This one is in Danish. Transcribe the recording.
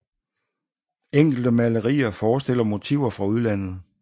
Enkelte malerier forestiller motiver fra udlandet